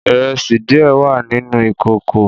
Ìrẹsídiẹ wà nìnú ìÌkókò.